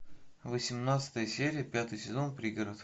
восемнадцатая серия пятый сезон пригород